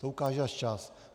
To ukáže až čas.